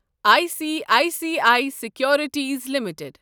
I C I C I securities limited